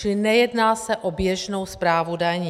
Čili nejedná se o běžnou správu daní.